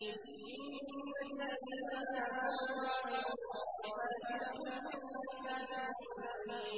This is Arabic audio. إِنَّ الَّذِينَ آمَنُوا وَعَمِلُوا الصَّالِحَاتِ لَهُمْ جَنَّاتُ النَّعِيمِ